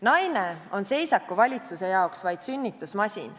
Naine on seisakuvalitsuse jaoks vaid sünnitusmasin.